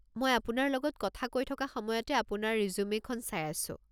মই আপোনাৰ লগত কথা কৈ থকা সময়তে আপোনাৰ ৰিজুমে'খন চাই আছো।